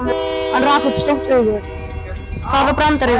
Hann rak upp stór augu, hvaða brandari var þetta?